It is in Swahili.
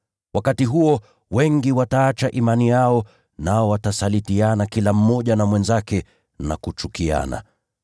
Wakati huo, wengi wataacha imani yao, nao watasalitiana kila mmoja na mwenzake na kuchukiana.